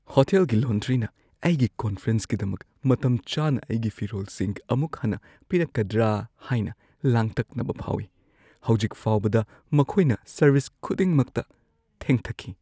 ꯍꯣꯇꯦꯜꯒꯤ ꯂꯣꯟꯗ꯭ꯔꯤꯅ ꯑꯩꯒꯤ ꯀꯣꯟꯐꯔꯦꯟꯁꯀꯤꯗꯃꯛ ꯃꯇꯝꯆꯥꯅ ꯑꯩꯒꯤ ꯐꯤꯔꯣꯜꯁꯤꯡ ꯑꯃꯨꯛ ꯍꯟꯅ ꯄꯤꯔꯛꯀꯗ꯭ꯔꯥ ꯍꯥꯏꯅ ꯂꯥꯡꯇꯛꯅꯕ ꯐꯥꯎꯏ꯫ ꯍꯧꯖꯤꯛ ꯐꯥꯎꯕꯗ ꯃꯈꯣꯏꯅ ꯁꯔꯚꯤꯁ ꯈꯨꯗꯤꯡꯃꯛꯇ ꯊꯦꯡꯊꯈꯤ꯫